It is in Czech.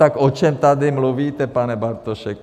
Tak o čem tady mluvíte, pane Bartošek?